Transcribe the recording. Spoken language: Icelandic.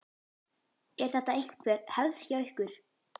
Er þetta einhver hefð hjá ykkur?